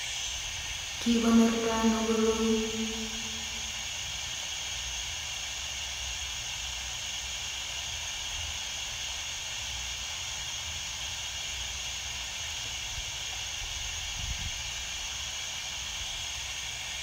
Kikonortoi ano koroi